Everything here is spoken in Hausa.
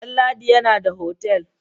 Damladi yana da otal.